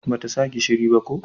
Ba ta sa gishiri ba ko?